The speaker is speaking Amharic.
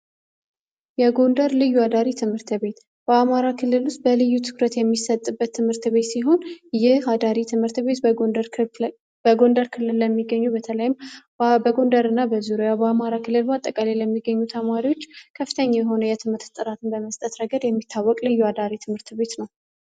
የጎንደር ልዩ አዳሪ ትምህርት ቤት በአማራ ክልል ውስጥ በልዩ ትኩረት የሚሰጥበት ትምህርት ቤት ሲሆን፤ ይህ አዳሪ ትምህርት ቤት በጎንደር ክልል ለሚገኙ በተለይም በጎንደር እና በዙርያ በአማራ ክልል ባጠቀላይ የሚገኙ ተማሪዎች ከፍተኛ የሆነ የትምህርት ጥራትን በመስጠት ረገድ የሚታወቅ ልዩ አዳሪ ትምህርት ቤት ነው።